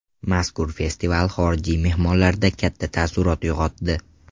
Mazkur festival xorijiy mehmonlarda katta taassurot uyg‘otdi.